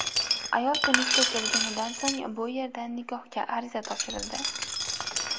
Ayol Tunisga kelganidan so‘ng bu yerda nikohga ariza topshirildi.